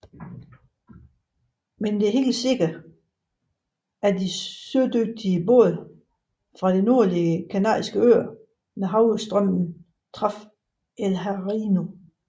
Men det er sikkert at de sødygtige både fra de nordlige Kanariske øer med havstrømmen traf El Hierro